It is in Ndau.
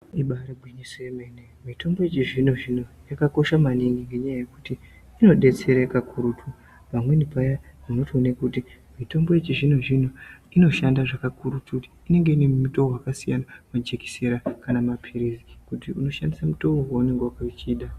Ibairi ngwinyiso ye mene mitombo yechizvino zvino yakakosha maningi ngenyaya yekuti inodetsere kakurutu . Pamweni paya unotoone kuti mitombo yechizvino zvino inoshanda kakurutu inenge inemitowo wakasiyana majekisera kana mapirizi kuti unoshandise mutowo waunonga uchida.